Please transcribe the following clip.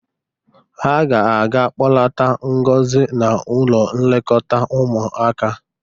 Ha ga-aga kpọlata Ngozi n´ụlọ nlekọta ụmụaka.